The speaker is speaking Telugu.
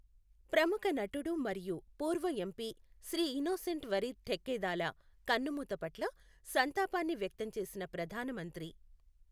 ప్రముఖ నటుడు మరియు పూర్వ ఎంపి శ్రీఇనోసెంట్ వరీద్ ఠెక్కెథాలా కన్నుమూత పట్ల సంతాపాన్ని వ్యక్తం చేసిన ప్రధాన మంత్రి